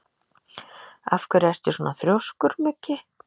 Af hverju ertu svona þrjóskur, Muggi?